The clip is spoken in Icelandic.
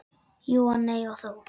Jú og nei og þó.